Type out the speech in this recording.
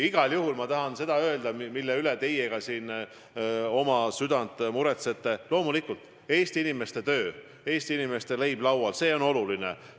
Aga ma tahan seda öelda, mille pärast ka teie siin südant valutate: loomulikult, Eesti inimeste töö, Eesti inimeste leib laual on oluline.